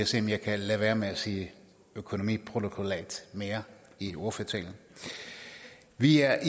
se om jeg kan lade være med at sige økonomiprotokollat mere i ordførertalen vi er